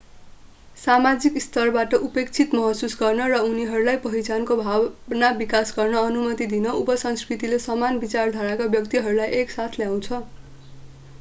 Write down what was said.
सामाजिक स्तरबाट उपेक्षित महसुस गर्न र उनीहरूलाई पहिचानको भावना विकास गर्न अनुमति दिन उपसंस्कृतिले समान विचारधाराका व्यक्तिहरूलाई एक साथ ल्याउँछ